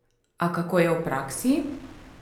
A kako je v praksi?